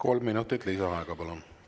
Kolm minutit lisaaega, palun!